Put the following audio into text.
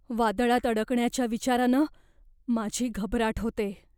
वादळात अडकण्याच्या विचारानं माझी घबराट होते.